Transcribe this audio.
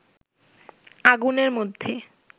আগুনের মধ্যে